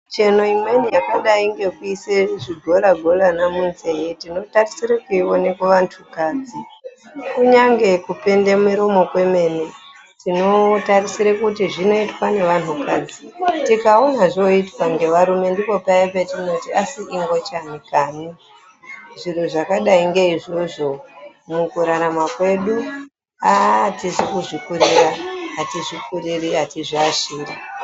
Micheno imweni yakadayi ngekuise zvigola golana munzee tinotarisire kuiona kuvantukadzi kunyange kupende muromo kwemene tinotarisire kuti zvinoitwa ngevantukadzi. Tikaona zvooitwa ngevarume ndipo paya patinoti asi ingochani kani. Zviro zvakadayi ngeizvozvo mukurarama kwedu aaah atizi kuzvikurira, atizvikuriri atizviashiri.